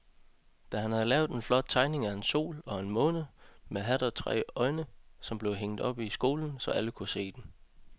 Dan havde lavet en flot tegning af en sol og en måne med hat og tre øjne, som blev hængt op i skolen, så alle kunne se den.